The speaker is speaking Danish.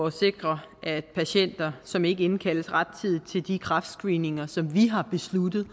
at sikre at patienter som ikke indkaldes rettidigt til de kræftscreeninger som vi har besluttet